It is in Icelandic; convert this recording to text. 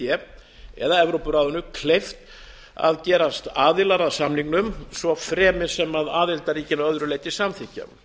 d eða evrópuráðinu kleift að gerast aðilar að samningnum svo fremi sem aðildarríkin að öðru leyti samþykkja